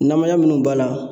Namaya munnu b'a la